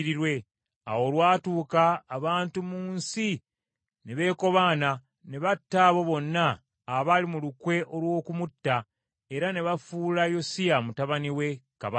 Awo olwatuuka, abantu mu nsi ne beekobaana, ne batta abo bonna abaali mu lukwe olw’okumutta, era ne bafuula Yosiya mutabani we kabaka.